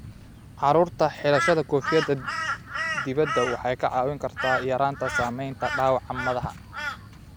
Carruurta, xidhashada koofiyadda dibadda waxay kaa caawin kartaa yaraynta saamaynta dhaawaca madaxa.